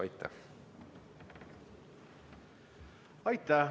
Aitäh!